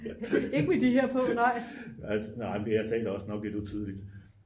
nej men jeg taler også nok lidt utydeligt